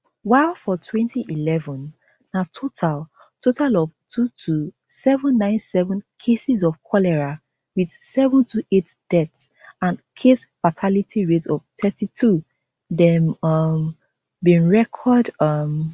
while for twenty eleven na total total of two two seven nine seven cases of cholera wit seven two eight deaths and case fatality rate of thirty-two dem um bin record um